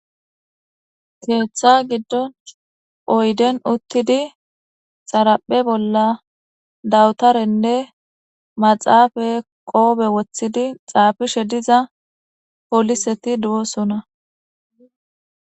Ketha gidon oyden utid xaraphe bolla dawutarenne maxafe qope wothid xafishe diya poliset dosona.